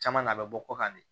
Caman na a bɛ bɔ kɔkan ne